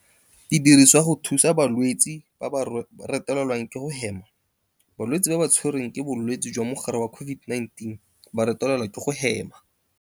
Di dirisiwa go thusa balwetse ba ba retelelwang ke go hema. Balwetse ba ba tshwe rweng ke bolwetse jwa mogare wa COVID-19 ba retelelwa ke go hema.